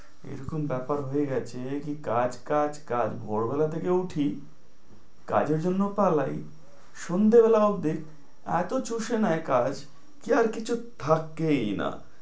এরকম ব্যাপার হয়ে গেছে কি কাজ কাজ কাজ ভোরবেলা থেকে উঠি কাজের জন্য পালাই সন্ধ্যেবেলা অবধি এতো চুষে নেয় কাজ কি আর কিছু থাকেই না